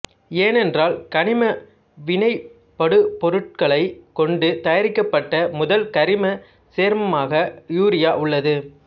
ஏனென்றால் கனிம வினைபடுபொருட்களைக் கொண்டு தயாரிக்கப்பட்ட முதல் கரிமச் சேர்மமாக யூரியா உள்ளது